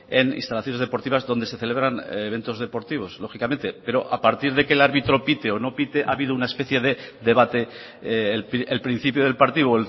en instalaciones deportivas donde se celebran eventos deportivos lógicamente pero a partir de que el árbitro pite o no pite ha habido una especie de debate el principio del partido